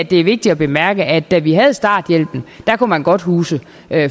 det er vigtigt at bemærke at da vi havde starthjælpen kunne man godt huse